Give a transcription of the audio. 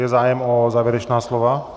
Je zájem o závěrečná slova?